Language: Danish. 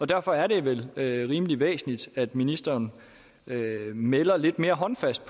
derfor er det vel rimelig væsentligt at ministeren melder lidt mere håndfast